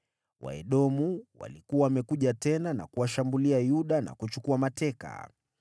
Waedomu walikuwa wamekuja tena na kuwashambulia Yuda na kuchukua mateka.